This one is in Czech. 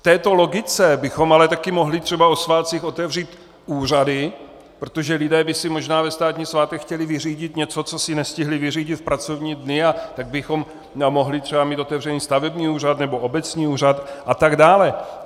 V této logice bychom ale taky mohli třeba o svátcích otevřít úřady, protože lidé by si možná ve státní svátek chtěli vyřídit něco, co si nestihli vyřídit v pracovní dny, a tak bychom mohli třeba mít otevřený stavební úřad nebo obecní úřad a tak dále.